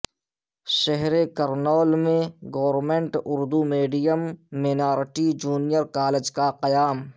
شہر کرنول میں government Urdu medium minority junior college کا قیام